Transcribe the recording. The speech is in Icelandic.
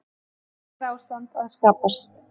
Neyðarástand að skapast